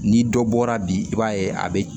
Ni dɔ bɔra bi i b'a ye a be